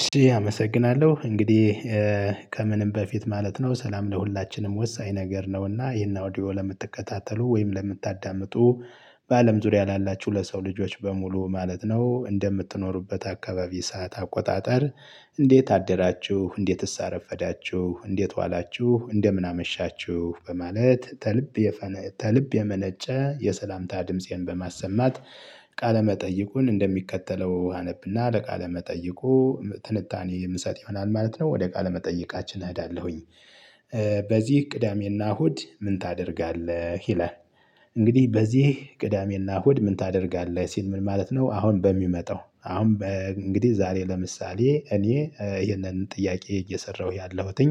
እሺ አመሰግናለሁ እንግዲህ። ከምንም በፊት ማለት ነው ሰላም ለሁላችንም ወሳኝ ነገር ነው እና ይሄን አውዲዮ ለምትከታተሉ ወይም ለምታዳምጡ በአለም ዙሪያ ላላችሁ ለሰው ልጆች በሙሉ ማለት ነው እንደምትኖሩበት አካባቢ ሰዓት አቆጣጠር? እንዴት አደራችሁ እንዴትስ አረፈዳችሁ እንዴት ዋላችሁ እንደምን አመሻችሁ በማለት። ተልብ የመነጨ የሰላምታ ድምፄን በማሰማት። ቃለ መጠይቁን እንደሚከተለው አነብ እና ለቃለ መጠይቁ ትንታኔ የምሰጥ ይሆናል ማለት ነው። ወደ ቃለ መጠየቃችን እሄዳለሁኝ። በዚህ ቅዳሜ እና እሁድ ምን ታደርጋለህ ይላል። እንግዲህ በዚህ ቅዳሜ እና እሁድ ምን ታደርጋለህ ሲል ምን ማለት ነው። አሁን በሚመጣው አሁን እንግዲህ ዛሬ ለምሳሌ እኔ ይሄንን ጥያቄ እየሰራሁ ያለሁትኝ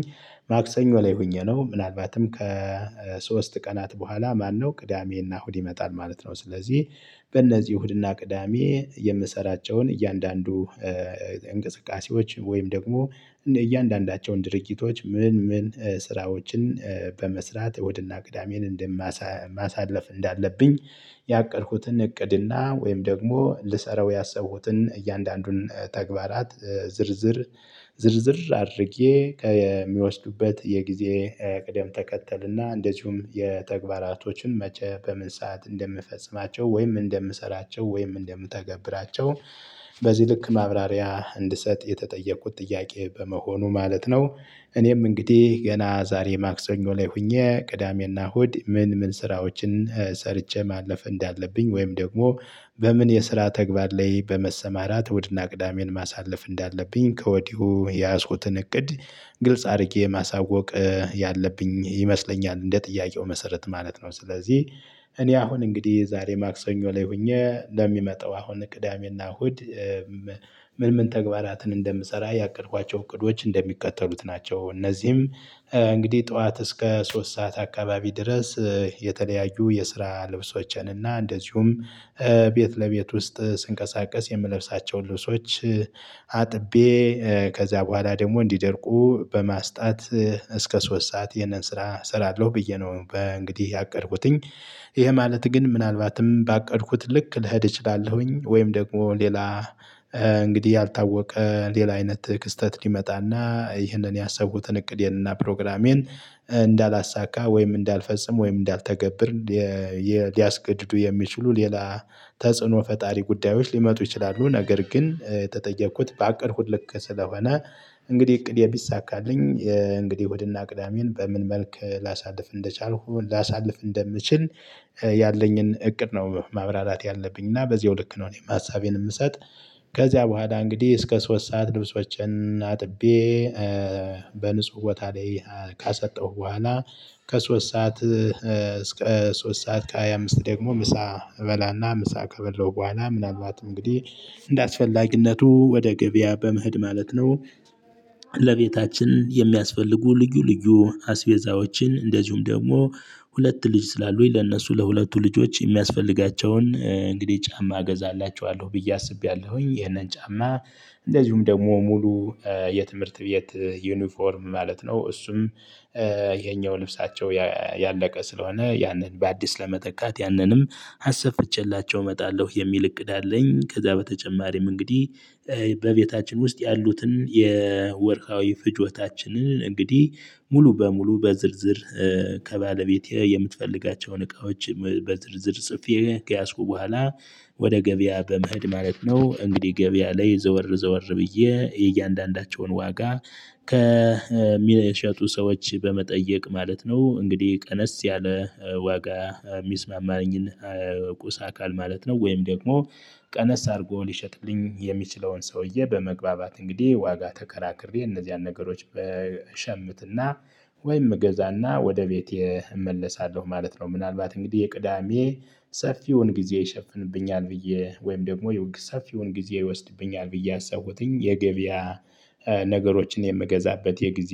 ማክሰኞ ላይ ሆኜ ነው። ምናልባትም ከሶስት ቀናት በኋላ ማነው ቅዳሜ እና እሁድ ይመጣል ማለት ነው። ስለዚህ በእነዚህ እሁድ እና ቅዳሜ የምሰራቸውን እያንዳንዱ እንቅስቃሴዎች ወይም ደግሞ እያንዳንዳቸውን ድርጊቶች ምን ምን ስራዎችን በመስራት ወደ እሁድ እና ግዳሜን እንደ ማሳለፍ እንዳለብኝ። ያቀድኩትን እቅድና ወይም ደግሞ ልሰራው ያሰቡትን እያንዳንዱን ተግባራት ዝርዝር ዝርዝር አድርጌ ከሚወስዱበት የጊዜ ቅደም ተከተል እና እንደዚሁም የተግባራቶችን መቼ በምን ሰዓት እንደምፈጽማቸው ወይም እንደምሰራቸው ወይም እንደምተገብራቸው። በዚህ ልክ ማብራሪያ እንድሰጥ የተጠየቁት ጥያቄ በመሆኑ ማለት ነው። እኔም እንግዲህ ገና ዛሬ ማክሰኞ ላይ ሆኜ ቅዳሜ እና እሁድ ምን ምን ስራዎችን ሰርቼ ማለፍ እንዳለብኝ ወይም ደግሞ በምን የስራ ተግባር ላይ በመሰማራት እሁድ እና ቅዳሜን ማሳለፍ እንዳለብኝ ከወዲሁ የያዝኩትን እቅድ ግልጽ አድርጌ ማሳወቅ ያለብኝ ይመስለኛል። እንደ ጥያቄው መሰረት ማለት ነው። ስለዚህ እኔ አሁን እንግዲህ ዛሬ ማክሰኞ ላይ ሆኜ ለሚመጣው አሁን ቅዳሜ እና እሁድ ምን ምን ተግባራትን እንደምሰራ ያቀድኳቸው እቅዶች እንደሚከተሉት ናቸው። እነዚህም እንግዲህ ጠዋት እስከ ሶስት ሰዓት አካባቢ ድረስ። የተለያዩ የስራ ልብሶችን እና እንደዚሁም ቤት ለቤት ውስጥ ስንቀሳቀስ የምለብሳቸውን ልብሶች አጥቤ ከዛ በኋላ ደግሞ እንዲደርቁ በማስጣት። እስከ ሶስት ሰዓት ይህንን ስራ እሰራለሁ ብዬ ነው በእንግዲህ ያቀድኩትኝ። ይሄ ማለት ግን ምናልባትም ባቀድኩት ልክ ልሄድ እችላለሁኝ ወይም ደግሞ ሌላ እንግዲህ ያልታወቀ ሌላ አይነት ክስተት ሊመጣ እና ይሄንን ያሰብኩትን እቅዴን እና ፕሮግራሜን እንዳላሳካ ወይም እንዳልፈጽም ወይም እንዳልተገብር። ሊያስገድዱ የሚችሉ ሌላ ተጽዕኖ ፈጣሪ ጉዳዮች ሊመጡ ይችላሉ። ነገር ግን የተጠየኩት ባቀድኩት ስለሆነ እንግዲህ እቅዴ ቢሳካልኝ እንግዲህ እሁድ እና ቅዳሜን በምን መልክ ላሳልፍ እንደቻልኩ ላሳልፍ እንደምችል። ያለኝን እቅድ ነው ማብራራት ያለብኝ እና በዚያው ልክ ነው እኔም ሀሳቤን የምሰጥ። ከዚያ በኋላ እንግዲህ እስከ ሶስት ሰዓት ልብሶችን አጥቤ በንጹህ ቦታ ላይ ካሰጣሁ በኋላ። ከሶስት ሰዓት እስከ ሶስት ሰዓት ከሃያ አምስት ደግሞ ምሳከ አበላ እና ምሳ ከበላው በኋላ ምናልባት እንግዲህ እንደ አስፈላጊነቱ ወደ ግብያ በመሄድ ማለት ነው። ለቤታችን የሚያስፈልጉ ልዩ ልዩ አስቤዛዎችን እንደዚሁም ደግሞ ሁለት ልጅ ስላሉኝ ለእነሱ ለሁለቱ ልጆች የሚያስፈልጋቸውን እንግዲህ ጫማ እገዛላችኋለሁ ብዬ አስቤያለሁኝ ይሄንን ጫማ። እንደዚሁም ደግሞ ሙሉ የትምህርት ብዬ ዩኒፎርም ማለት ነው እሱም። የኛው ልብሳቸው ያለቀ ስለሆነ ያንን በአዲስ ለመተካት ያንንም አሰፍቼላቸው እመጣለሁ የሚል እቅድ አለኝ። ከዛ በተጨማሪም እንግዲህ በቤታችን ውስጥ ያሉትን የወርሀዊ ፍጆታችንን እንግዲህ ሙሉ በሙሉ በዝርዝር ከባለቤቴ የምትፈልጋቸውን እቃዎች በዝርዝር ጽፌ ከያዝኩ በኋላ። ወደ ገበያ በመሄድ ማለት ነው። እንግዲህ ገበያ ላይ ዘወር ዘወር ብዬ የእያንዳንዳቸውን ዋጋ ከሚሸጡ ሰዎች በመጠየቅ ማለት ነው። እንግዲህ ቀነስ ያለ ዋጋ የሚስማማኝን ቁሳ አካል ማለት ነው። ወይም ደግሞ ቀነስ አድርጎ ሊሸጥልኝ የሚችለውን ሰውዬ በመግባባት እንግዲህ ዋጋ ተከራክሬ እነዚያን ነገሮች እሸምት እና ወይም እገዛና ወደ ቤቴ እመለሳለሁ ማለት ነው። ምናልባት እንግዲህ የቅዳሜ ሰፊውን ጊዜ ይሸፍንብኛል ብዬ ወይም ደግሞ ሰፊውን ጊዜ ይወስድብኛል ብዬ ያሰብኩትኝ የገበያ ነገሮችን የምገዛበት የጊዜ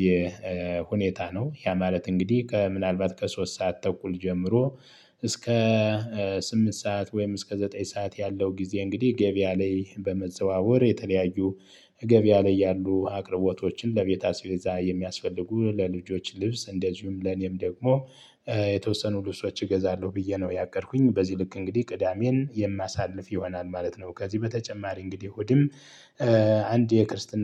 ሁኔታ ነው። ያ ማለት እንግዲህ ከምናልባት ከሶስት ሰዓት ተኩል ጀምሮ። እስከ ስምንት ሰዓት ወይም እስከ ዘጠኝ ሰዓት ያለው ጊዜ እንግዲህ ገቢያ ላይ በመዘዋወር የተለያዩ ገበያ ላይ ያሉ አቅርቦቶችን ለቤት አስቤዛ የሚያስፈልጉ ለልጆች ልብስ እንደዚሁም ለኔም ደግሞ የተወሰኑ ልብሶች እገዛለሁ ብዬ ነው። ያቀድኩኝ በዚህ ልክ እንግዲህ ቅዳሜን የማሳልፍ ይሆናል ማለት ነው። ከዚህ በተጨማሪ እንግዲህ እሁድም አንድ የክርስትና